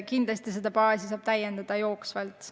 Kindlasti seda baasi saab jooksvalt täiendada.